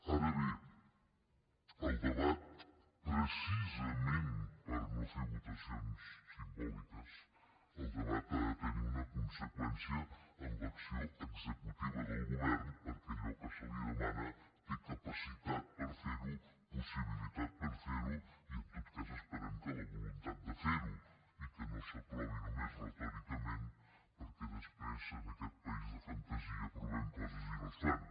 ara bé el debat precisament per no fer votacions simbòliques el debat ha de tenir una conseqüència en l’acció executiva del govern perquè allò que se li demana té capacitat per fer ho possibilitat per fer ho i en tot cas esperem que la voluntat de fer ho i que no s’aprovi només retòricament perquè després en aquest país de fantasia aprovem coses i no es fan